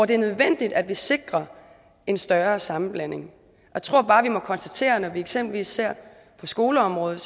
det er nødvendigt at vi sikrer en større sammenblanding jeg tror bare vi må konstatere når vi eksempelvis ser på skoleområdet